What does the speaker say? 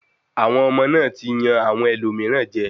Àwọn ọmọ náà ti ń yan àwọn ẹlòmíràn jẹ.